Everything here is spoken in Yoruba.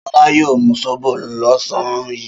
Ṣọlá yóò mú sóbò lọ́sàn-án yìí.